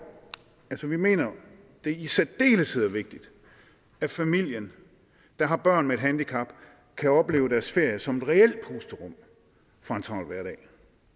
altså vi mener at det i særdeleshed er vigtigt at familier der har børn med handicap kan opleve deres ferie som et reelt pusterum fra en travl hverdag